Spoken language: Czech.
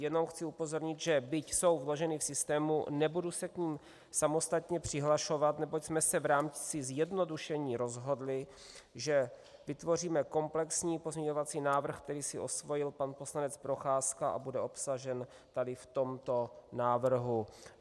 Jenom chci upozornit, že byť jsou vloženy v systému, nebudu se k nim samostatně přihlašovat, neboť jsme se v rámci zjednodušení rozhodli, že vytvoříme komplexní pozměňovací návrh, který si osvojil pan poslanec Procházka, a bude obsažen tady v tomto návrhu.